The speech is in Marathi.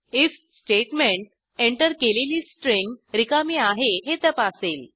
आयएफ स्टेटमेंट एंटर केलेली स्ट्रिंग रिकामी आहे हे तपासेल